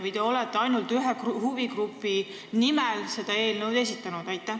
Või te olete ainult ühe huvigrupi nimel selle eelnõu esitanud?